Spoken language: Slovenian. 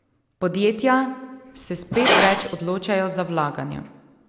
Podjetja se spet več odločajo za vlaganja.